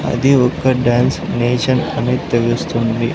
అది ఒక్క dance nation అని తెలుస్తుంది.